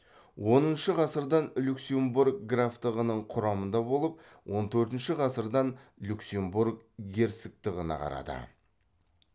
оныншы ғасырдан люксембург графтығының құрамында болып он төртінші ғасырдан люксембург герцогтығына қарады